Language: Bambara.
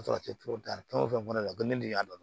fɛn o fɛn kɔni ne ko ne de y'a dɔn